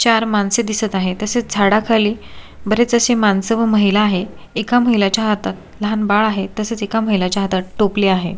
चार माणसे दिसत आहे तसेच झाडा खाली बरेच अशे माणस व महिला आहे एका महिलाच्या हातात लहान बाळ आहे तसेच एका महिलाच्या हातात टोपली आहे.